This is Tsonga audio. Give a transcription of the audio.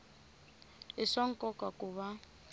i swa nkoka ku va